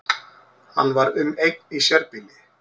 Hann var um eign í sérbýli